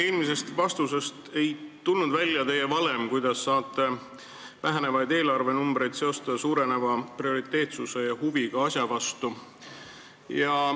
Eelmisest vastusest ei tulnud välja teie valem, kuidas saate vähenevaid eelarvenumbreid seostada suureneva prioriteetsuse ja huviga asja vastu.